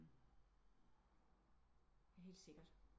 Helt sikkert